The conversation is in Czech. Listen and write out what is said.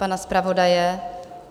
Pana zpravodaje?